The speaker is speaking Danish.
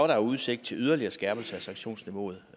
der udsigt til yderligere skærpelse af sanktionsniveauet